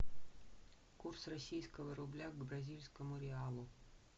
курс российского рубля к бразильскому реалу